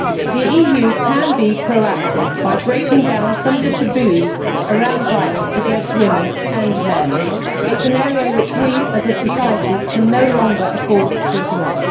The EU can be proactive by breaking down some of the taboos around violence against women and men. It is an area which we as a society can no longer afford to ignore.